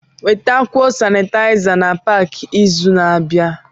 Wetakwuo Sanitaiza na Pááki izu na-abịa